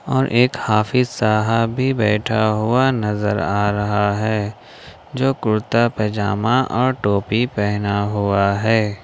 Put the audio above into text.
और एक हाफिज साहब भी बैठा हुआ नजर आ रहा है जो कुर्ता पजामा और टोपी पहना हुआ है।